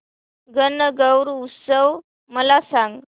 गणगौर उत्सव मला सांग